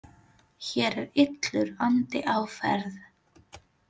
Hér er illur andi á ferð.